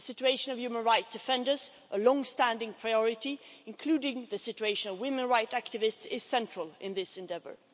The situation of human right defenders, a longstanding priority, including the situation of women rights activists, is central in this endeavour.